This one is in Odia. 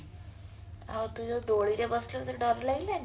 ଆଉ ତୁ ଯୋଉ ଦୋଳିରେ ବସିଲୁ ତତେ ଡର ଲାଗିଲାନି